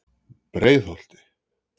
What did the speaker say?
Breiðholti